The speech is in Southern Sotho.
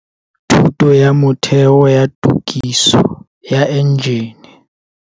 Thuto ya Motheo ya Tokiso ya Enjene.